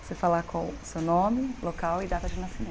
Você falar qual é o seu nome, local e data de nascimento.